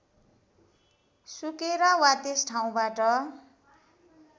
सुकेर वा त्यस ठाउँबाट